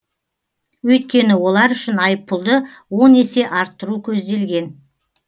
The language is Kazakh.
өйткені олар үшін айыппұлды он есе арттыру көзделген